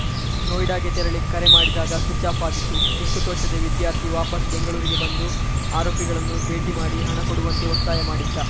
ನೋಯಿಡಾಗೆ ತೆರಳಿ ಕರೆ ಮಾಡಿದಾಗ ಸ್ವಿಚ್‌ಆಫ್‌ ಆಗಿತ್ತು ದಿಕ್ಕು ತೋಚದೆ ವಿದ್ಯಾರ್ಥಿ ವಾಪಸ್‌ ಬೆಂಗಳೂರಿಗೆ ಬಂದು ಆರೋಪಿಗಳನ್ನು ಭೇಟಿ ಮಾಡಿ ಹಣ ಕೊಡುವಂತೆ ಒತ್ತಾಯ ಮಾಡಿದ್ದ